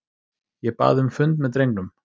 Ég bað um fund með drengnum.